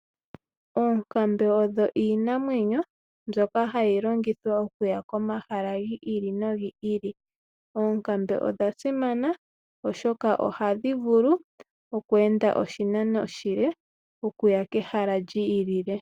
Oonkambe odho iinamwenyo mbyoka hayi longithwa okuya komahala gi ili nogi ili, oonkambe odha simana oshoka ohadhi vulu okweenda oshinano oshile okuya kehala li ilile.